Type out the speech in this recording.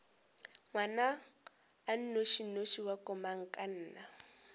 ngwana a nnošinoši wa komangkanna